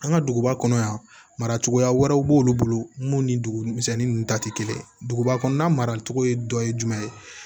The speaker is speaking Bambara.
An ka duguba kɔnɔ yan mara cogoya wɛrɛw b'olu bolo mun ni dugu misɛnnin ninnu ta tɛ kelen ye duguba kɔnɔna maracogo dɔ ye jumɛn ye